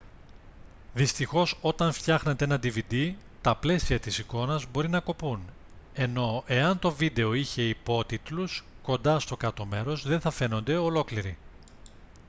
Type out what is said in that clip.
δυστυχώς όταν φτιάχνετε ένα dvd τα πλαίσια της εικόνας μπορεί να κοπούν ενώ εάν το βίντεο είχε υπότιτλους κοντά στο κάτω μέρος δεν θα φαίνονται ολόκληροι